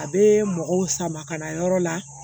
A bɛ mɔgɔw sama ka na yɔrɔ la